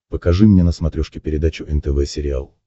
покажи мне на смотрешке передачу нтв сериал